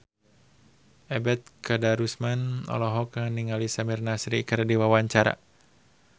Ebet Kadarusman olohok ningali Samir Nasri keur diwawancara